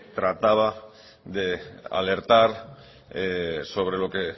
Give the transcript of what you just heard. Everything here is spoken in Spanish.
trataba de alertar sobre lo que